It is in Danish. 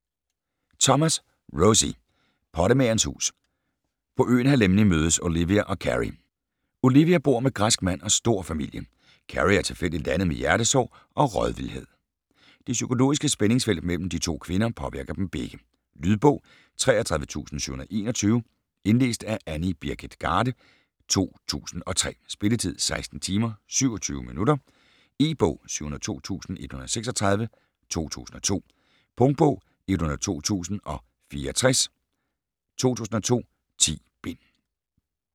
Thomas, Rosie: Pottemagerens hus På øen Halemni mødes Olivia og Cary. Olivia bor med græsk mand og stor familie, Cary er tilfældigt landet med hjertesår og rådvildhed. Det psykologiske spændingsfelt mellem de to kvinder påvirker dem begge. Lydbog 33721 Indlæst af Annie Birgit Garde, 2003. Spilletid: 16 timer, 27 minutter. E-bog 702136 2002. Punktbog 102064 2002. 10 bind.